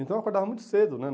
Então eu acordava muito cedo, né?